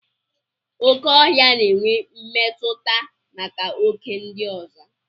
Okè ọhịa na-enwe mmetụta maka oké ndị ọzọ.